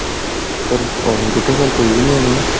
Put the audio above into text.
ਫਿਰ ਆਉਣੀ ਕਿਥੋਂ, ਫਿਰ ਕੋਈ ਵੀ ਨੀ ਆਉਣੀ ਨਾ।